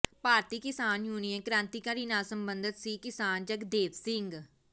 ਭਾਰਤੀ Kisan union Krantikari ਨਾਲ ਸਬੰਧਤ ਸੀ ਕਿਸਾਨ ਜਗਦੇਵ ਸਿੰਘ